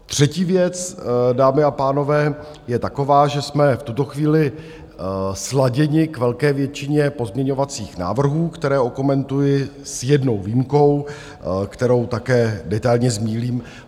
Třetí věc, dámy a pánové, je taková, že jsme v tuto chvíli sladěni k velké většině pozměňovacích návrhů, které okomentuji s jednou výjimkou, kterou také detailně zmíním.